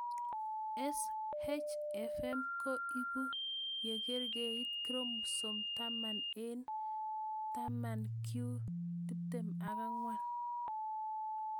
SHFM ko ipu ye karkeit chromosom taman eng' 10q24